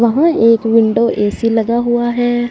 वहां एक window AC लगा हुआ है।